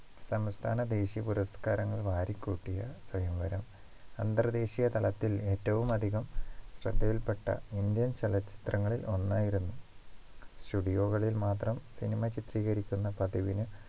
സംസ്ഥാന ദേശീയ പുരസ്കാരങ്ങൾ വാരിക്കൂട്ടിയ സ്വയംവരം അന്തർദേശീയ തലത്തിൽ ഏറ്റവും അധികം ശ്രദ്ധയിൽപ്പെട്ട ഇന്ത്യൻ ചലച്ചിത്രങ്ങളിൽ ഒന്നായിരുന്നു studio കളിൽ മാത്രം cinema ചിത്രീകരിക്കുന്ന പതിവിന്